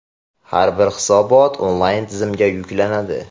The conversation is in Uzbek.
Har bir hisobot onlayn tizimga yuklanadi.